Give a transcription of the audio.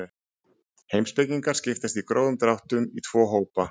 Heimspekingar skiptast í grófum dráttum í tvo hópa.